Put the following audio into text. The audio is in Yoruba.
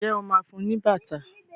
ìje ọ má fún ní bàtà?